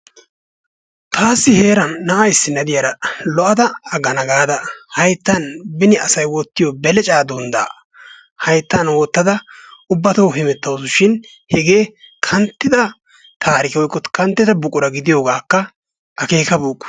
Taassi heeran na'a issinna de'iyara lo'ada aggana gaada hayttan beni asay wottiyo belecaa dunddaa hayttan wottada ubbatoo hemettawusu shin hegee kanttida taarike woykko kanttida buqura gidiyogaakka akeekabeykku.